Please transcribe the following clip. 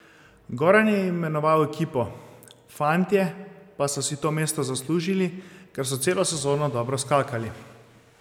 Goran je imenoval ekipo, fantje pa so si to mesto zaslužili, ker so celo sezono dobro skakali.